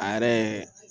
A yɛrɛ